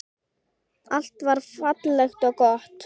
Allt var fallegt og gott.